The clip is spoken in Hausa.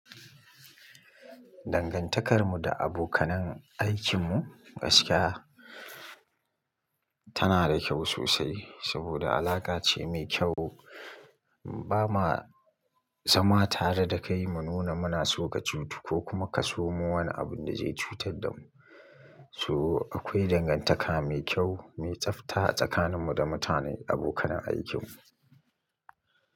Dangantakarmu da abokanan aikinmu gaskiya tana da kyau sosai, saboda alaka ce mai kyau. Ba ma zama tare da kai mu nuna muna so ka cutu ko kuma ka somo wani abun da zai cutar da mu. So akwai dangantaka mai kyau, mai tsafta a tsakanin mu da mutane abokanan aikinmu.